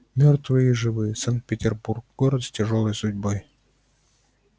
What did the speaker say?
мёртвые и живые санкт-петербург город с тяжёлой судьбой